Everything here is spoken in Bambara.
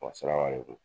Wa saraka le kun